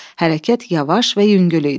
Hərəkət yavaş və yüngül idi.